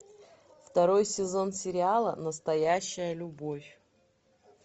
второй сезон сериала настоящая любовь